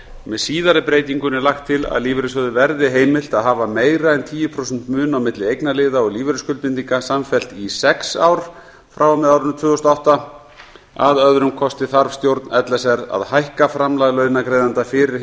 með síðari breytingunni er lagt til að lífeyrissjóði verði heimilt að hafa meira en tíu prósent mun á milli eignarliða og lífeyrisskuldbindinga samfellt í sex ár frá og með árinu tvö þúsund og átta að öðrum kosti þarf stjórn l s r að hækka framlag launagreiðenda fyrir